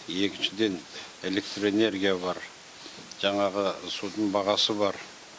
екіншіден электр энергия бар жаңағы судың бағасы бар